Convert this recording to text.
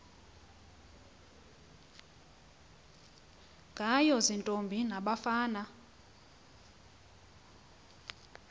ngayo ziintombi nabafana